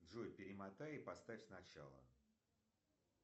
джой перемотай и поставь сначала